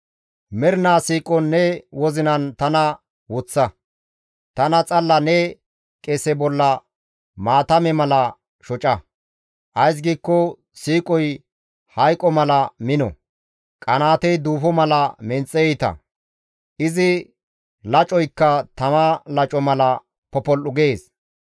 Mernaa siiqon ne wozinan tana woththa; tana xalla ne qese bolla maatame mala shoca; ays giikko siiqoy hayqo mala mino; qanaatey duufo mala menxe iita; izi lacoykka tama laco mala popol7u gees.